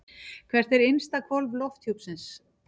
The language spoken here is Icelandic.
Hvert er innsta hvolf lofthjúpsins?